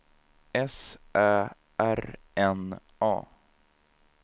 S Ä R N A